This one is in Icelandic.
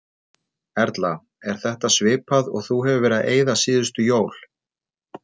Erla: Er þetta svipað og þú hefur verið að eyða síðustu jól?